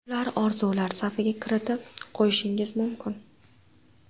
Ularni orzular safiga kiritib qo‘yishingiz mumkin.